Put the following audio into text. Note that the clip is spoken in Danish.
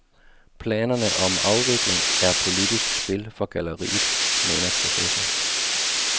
Planerne om afvikling er politisk spil for galleriet, mener professor.